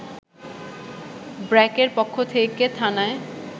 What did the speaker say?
ব্র্যাকের পক্ষ থেকে থানায়